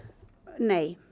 nei